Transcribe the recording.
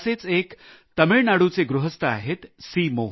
असेच एक तामिळनाडूचे गृहस्थ आहेत सी